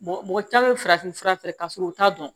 mɔgɔ caman bɛ farafin fura fɛ ka sɔrɔ u t'a dɔn